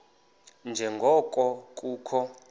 nje ngoko kukho